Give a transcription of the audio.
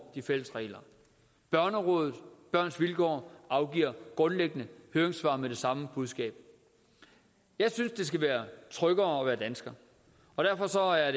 de fælles regler børnerådet børns vilkår afgiver grundlæggende høringssvar med det samme budskab jeg synes det skal være tryggere at være dansker derfor er